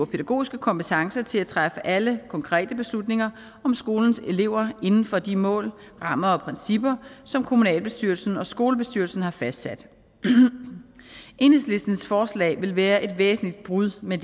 pædagogiske kompetence til at træffe alle konkrete beslutninger om skolens elever inden for de mål rammer og principper som kommunalbestyrelsen og skolebestyrelsen har fastsat enhedslistens forslag vil være et væsentligt brud med